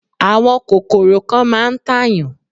Àwọn kòkòrò kan máà ń tàyàn.